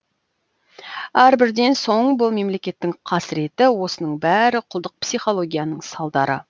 әрбірден соң бұл мемлекеттің қасыреті осының бәрі құлдық психологияның салдары